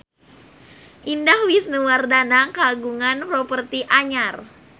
Indah Wisnuwardana kagungan properti anyar